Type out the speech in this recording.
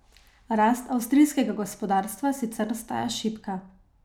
Rast avstrijskega gospodarstva sicer ostaja šibka.